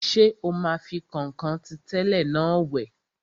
Ṣé o máa fi kọ̀nkọ̀n tí tẹ́lẹ̀ náà wẹ̀?